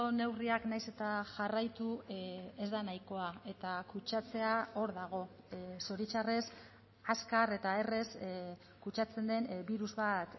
neurriak nahiz eta jarraitu ez da nahikoa eta kutsatzea hor dago zoritxarrez azkar eta errez kutsatzen den birus bat